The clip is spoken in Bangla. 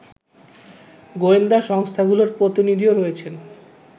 গোয়েন্দা সংস্থাগুলোর প্রতিনিধিও রয়েছেন